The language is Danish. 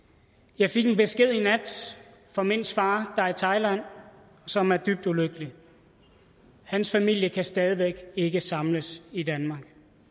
jeg fik en besked i nat fra mints far der er i thailand og som er dybt ulykkelig hans familie kan stadig væk ikke samles i danmark